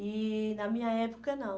E na minha época, não.